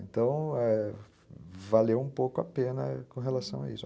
Então, é, valeu um pouco a pena com relação a isso.